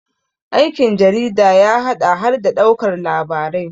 aikin jarida ya haɗa har da ɗaukar labarai